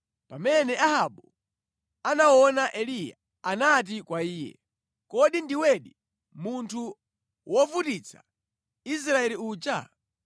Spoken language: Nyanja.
Pamene Ahabu anaona Eliya, anati kwa iye, “Kodi ndiwedi, munthu wovutitsa Israeli uja?”